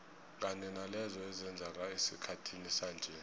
kanye nalezo ezenzeka esikhathini sanje